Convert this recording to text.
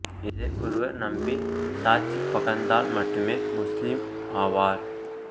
இதை ஒருவர் நம்பி சாட்சி பகர்ந்தால் மட்டுமே முஸ்லீம் ஆவார்